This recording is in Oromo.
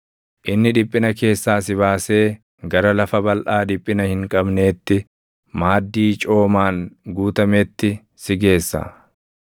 “Inni dhiphina keessaa si baasee gara lafa balʼaa dhiphina hin qabneetti, maaddii coomaan guutametti si geessa.